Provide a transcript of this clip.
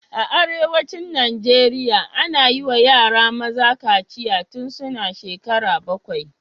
A arewacin Najeriya, ana yi wa yara maza kaciya tun suna shekara bakwai